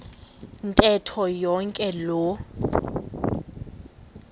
ntetho yonke loo